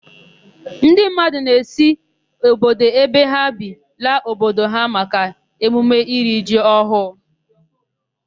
Ndị mmadụ na-esi obodo ebe ha bi laa obodo ha maka emume iri ji ọhụụ.